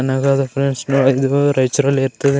ಚೆನ್ನಾಗಾದ friends ನೋಡಿದ್ದು ರೈಚೂರಲ್ಲಿ ಇರ್ತದ.